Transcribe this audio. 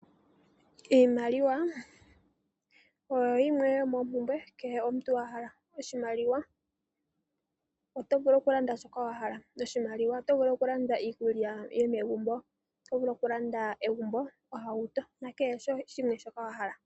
Iimaliwa oyo yimwe yomoompumbwe kehe omuntu a hala. Oshimaliwa oto vulu okulanda shoka wa hala. Oshimaliwa oto vulu okulanda iikulya yomegumbo. Oto vulu okulanda egumbo, ohauto nakehe shimwe shoka wa hala.